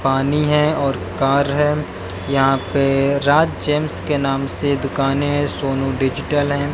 पानी है और कार है यहां पे राज जेम्स के नाम से दुकानें हैं सोनू डिजिटल है।